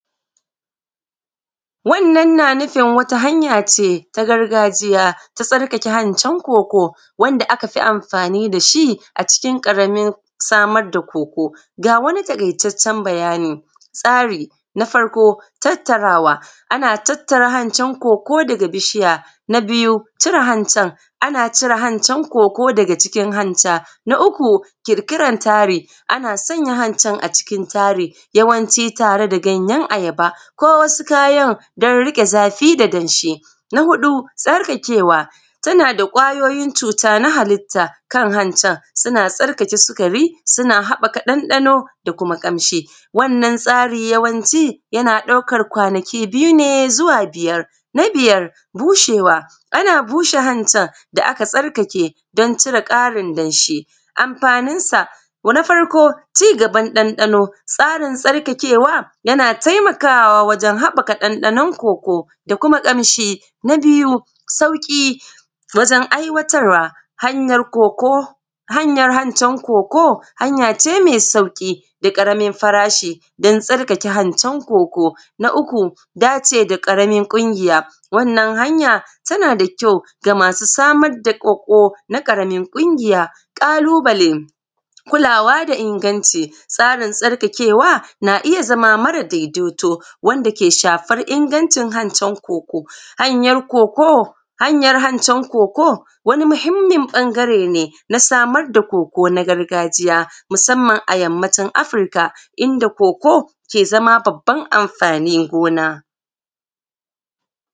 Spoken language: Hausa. Wannan na nufin wata hanya ce ta gargajiya ta tsarkake hancin koko wanda aka fi amfani da shi a cikin ƙaramin samar da koko. Ga wani taƙaitaccen bayani tsari na farko tattarawa, ana tattara hancen koko daga bishiya, na biyu cire hanta nana cire hancan koko daga cikin hancan na uku ƙiƙiran tari ana sanya hancin a cikin tsari yawanci tare da ganyen ayaba ko wasu kayan don riƙe zafi da danshi, na huɗu tsarkakewa, tana da kwayoyin cuta na hallita kan hantan suna tsarkake sukari, suna haɓaka ɗanɗano da kuma ƙamshi. Wannan tsari yawanci yana ɗaukan kwanaki biyu ne zuwa biyar na biyar, bushewa ana bushe hantan da aka tsarkake don cire tsarin danshi. Amfanin sa na farko cigaban ɗanɗano, tsarin tsarkakewa, yana taimakawa a wajen haɓaka ɗanɗanon koko da kuma ƙamshi, na biyu sauƙi wajen aiwatar wa hanyan koko, hanyan hancin koko, hanya ce me sauƙi da ƙaramin farashi don tsarkake hantan koko na uku dace da ƙaramin ƙungiya wannan hanya tana da kyau da masu samar da koko, ƙaramin ƙungiya ƙalubale kulawa da inganci tsarin tsaftacewan a iya zama mara daidaito wanda ke shafan ingancin hancan koko, hanyan koko hanyan hancan koko wani muhimmin ɓangare ne na samar da koko na gargajiya musamman a yammacin Afurika inda koko ke zama babban amfanin gona.